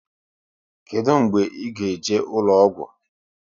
Kedụ mgbe ị ga eje ụlọgwụ?